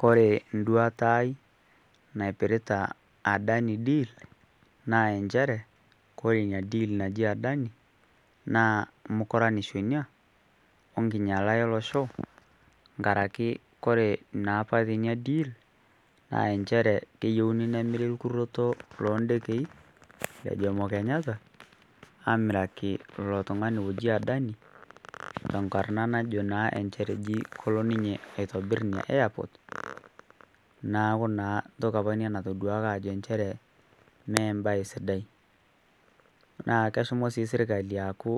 Kore nduata aai naipirita Adani deal naa enchere kore nia deal naji Adani naa mukuranisho nia o nkinyala e losho nkaraki kore naa apa teinia deal naa enchere keyieuni nemiri lkurroto loo ndekei le Jomo Kenyatta aamiraki lo tung'ani oji Adani tenkarrna najo naa enchere eji kolo ninye aitobirr nia airport naaku naa ntoki apa nia natoduaki aajo enchere mee mbae sidai naa keshomo sii sirkali aaku